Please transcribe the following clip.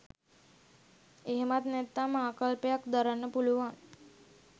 එහෙමත් නැත්නම් ආකල්පයක් දරන්න පුළුවන්.